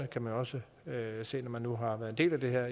kan man også se når man nu har været en del af det her